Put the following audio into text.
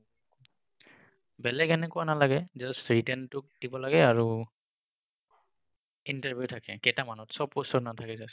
বেলেগ তেনেকুৱা নালাগে just written তো দিব লাগে আৰু interview থাকে কেইটামানত চব post ত নাথাকে।